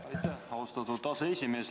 Aitäh, austatud aseesimees!